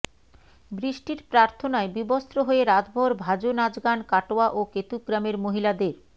বৃষ্টির প্রার্থনায় বিবস্ত্র হয়ে রাতভর ভঁাজো নাচগান কাটোয়া ও কেতুগ্রামের মহিলাদের